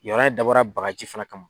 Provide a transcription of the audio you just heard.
Yen yɔrɔ in dabɔra bagaji fɛnɛ kama